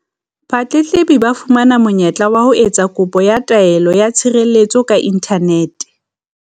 Batletlebi ba tla fumana monye-tla wa ho etsa kopo ya taelo ya tshirelletso ka inthanete.